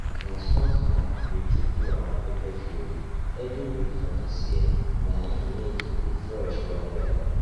na strong hand we take do our pepper field every week for this year na im make e dey fresh well well